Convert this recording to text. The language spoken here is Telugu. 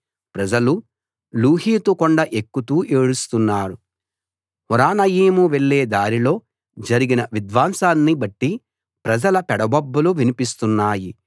ప్రజలు లూహీతు కొండ ఎక్కుతూ ఏడుస్తున్నారు హొరొనయీము వెళ్ళే దారిలో జరిగిన విధ్వంసాన్ని బట్టి ప్రజల పెడబొబ్బలు వినిపిస్తునాయి